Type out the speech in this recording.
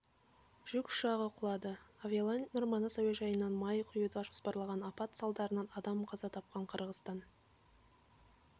жүк ұшағы құлады авиалайнер манас әуежайынан май құюды жоспарлаған апат садарынан адам қаза тапқан қырғызстан